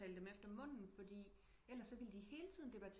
At tale dem efter munden fordi ellers vil de helt tiden debatere